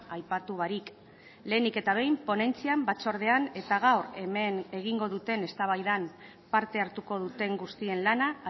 aipatu barik lehenik eta behin ponentzian batzordean eta gaur hemen egingo duten eztabaidan parte hartuko duten guztien lana